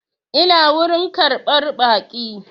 Ina wurin ƙarɓar baƙi